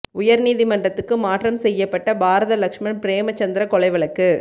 உயர் நீதிமன்றத்துக்கு மாற்றம் செய்யப்பட்ட பாரத லக்ஸ்மன் பிரேமசந்திர கொலை வழக்கு